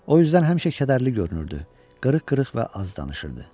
O üzdən həmişə kədərli görünürdü, qırıq-qırıq və az danışırdı.